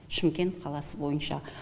шымкент қаласы бойынша